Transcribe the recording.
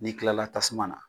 N'i kilala tasuma na